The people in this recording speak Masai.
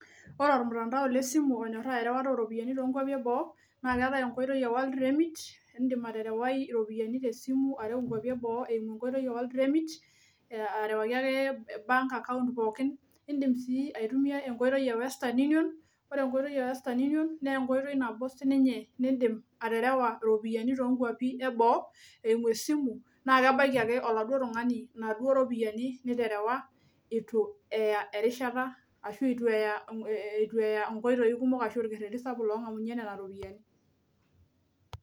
Ore ormtandao lesimu onyorraa erewata oropiyiani tonkuapi eboo naa keeetae enkoitoi e world remit indim aterewai iropiani inkuapi eboo eimu enkoitoi e world remit uh arewaki ake bank account pookin indim sii aitumia enkoitoi e western union ore enkoitoi e western union nenkoitoi nabo sininye nindim aterewa iropiani tonkuapi eboo eimu esimu naa kebaiki ake oladuo tung'ani inaduo ropiyiani niterewa itu eya erishata ashu etu eya eh itu eya inkoitoi kumok ashu olkerreti sapuk long'amunyie nana ropiyiani.